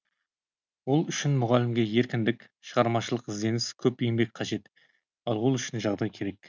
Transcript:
ол үшін мұғалімге еркіндік шығармашылық ізденіс көп еңбек қажет ал ол үшін жағдай керек